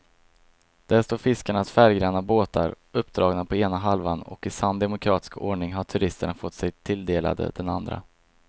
Där står fiskarnas färggranna båtar uppdragna på ena halvan och i sann demokratisk ordning har turisterna fått sig tilldelade den andra.